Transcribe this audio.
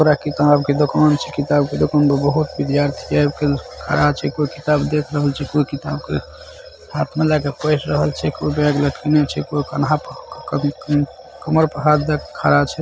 किताब के दुकान छै किताब के दुकान पर बहुत विद्यार्थी एब के खड़ा छै कोय किताब देख रहल छै कोय किताब के हाथ में लेके पऐढ रहल छै कोई बैग रखने छै कोई क-क -क कमर पे हाथ देके खड़ा छै।